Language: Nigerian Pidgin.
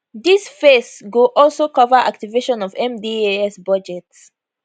dis phase go also cover activation of mdas budget